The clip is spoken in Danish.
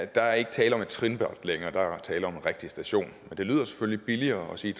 der er ikke tale om et trinbræt længere der er tale om en rigtig station men det lyder selvfølgelig billigere at sige